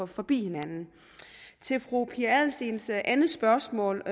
forbi hinanden til fru pia adelsteens andet spørgsmål